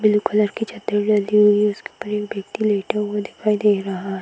Blue colour की चद्दर या ली हुई है उसके ऊपर एक वयक्ति लेटा हुआ दिखाई दे रहा।